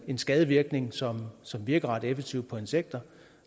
en skadevirkning som som virker ret effektivt på insekter